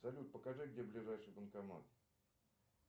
салют покажи где ближайший банкомат